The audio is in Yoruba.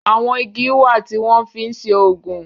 àwọn ìgi wá tí wón fín ṣe oògùn.